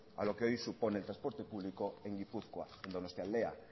a lo que hoy supone el transporte público en gipuzkoa en donostialdea